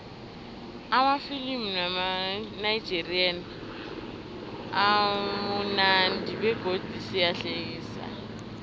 amafilimu wamanigerian amunandi begodu ayahlekisa